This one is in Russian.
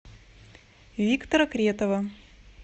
виктора кретова